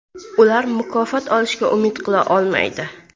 Ular mukofot olishga umid qila olmaydi.